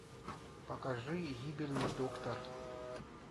покажи гибельный доктор